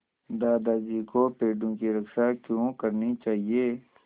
दादाजी को पेड़ों की रक्षा क्यों करनी चाहिए